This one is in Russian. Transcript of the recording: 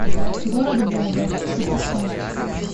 город бога запускай